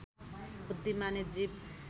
बुद्धिमानी जीव